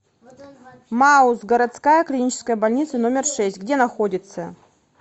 мауз городская клиническая больница номер шесть где находится